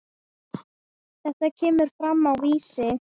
Þetta kemur fram á Vísi.